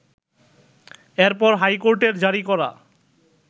এরপর হাইকোর্টের জারি করা